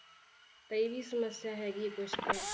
ਤਾਂ ਇਹ ਵੀ ਸਮੱਸਿਆ ਹੈਗੀ ਆ ਕੁਛ ਤਾਂ।